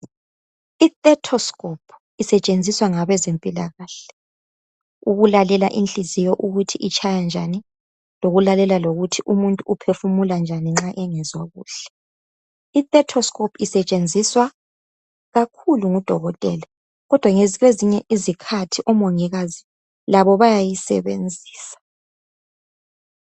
Ithetoscope isetshenzuswa ngabezempilakahle. Ukulalela inhliziyo ukuthi itshaya njani. Lokulalela lokuthi lomuntu uphefumula njani nxa engezwa kuhle. Ithetoscope isetshenziwa ikakhulu ngodokotela, kodwa kwezinye izikharhi, omongikazi labo bayayisebenzisa.